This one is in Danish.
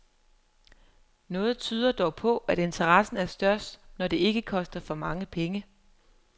Noget tyder dog på, at interessen er størst, når det ikke koster for mange penge.